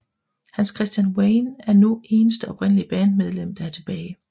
Hans Christian Wayne er nu eneste oprindelige bandmedlem der er tilbage